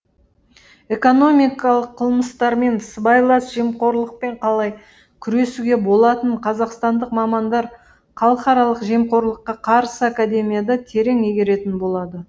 экономикалық қылмыстармен сыбайлас жемқорлықпен қалай күресуге болатынын қазақстандық мамандар халықаралық жемқорлыққа қарсы академияда терең игеретін болады